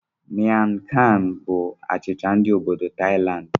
Miang kham bụ achicha ndi obodoThailandi.